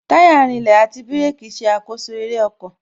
Táyà rinlẹ̀, àti bírèkī ṣe àkoso eré ọkọ̀